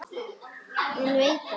Hann veit það.